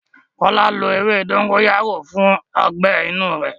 Kọ́lá lo ewé dógóyárò fún ọgbẹ́ inú rẹ̀.